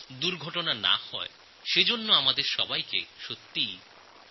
দুর্ঘটনা যাতে না ঘটে সেব্যাপারে আমাদের ভাবনাচিন্তা করা উচিত